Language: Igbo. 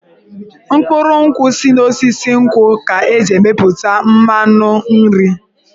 Mkpụrụ nkwụ si n'osisi nkwụ ka e ji emepụta mmanụ nri.